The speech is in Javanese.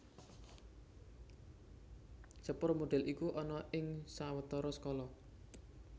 Sepur modèl iku ana ing sawetara skala